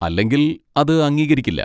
അല്ലെങ്കിൽ അത് അംഗീകരിക്കില്ല.